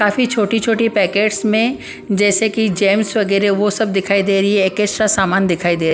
काफी छोटी-छोटी पैकेट्स में जैसे कि जेम्स वगैरह वो सब दिखाई दे रही है एक्स्ट्रा सामान दिखाई दे --